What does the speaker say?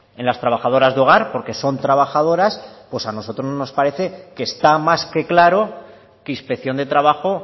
en las trabajadoras de hogar porque son trabajadoras pues a nosotros nos parece que está más que claro que inspección de trabajo